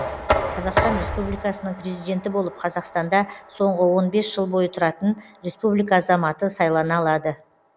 қазақстан республикасының президенті болып қазақстанда соңғы он бес жыл бойы тұратын республика азаматы сайлана алады